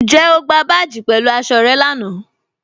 Ǹjẹ̀ o gbà báàjì pẹ̀lú aṣọ̀ rẹ̀ láńà?